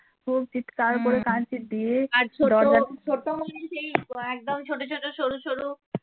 ছোট মনে সেই একদম ছোট ছোট সরু সরু